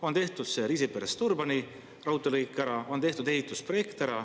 On tehtud ära see raudteelõik Riisiperest Turbani, on tehtud ära ehitusprojekt.